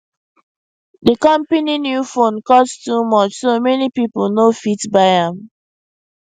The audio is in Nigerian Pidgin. de company new phone cost too much so many people no fit buy am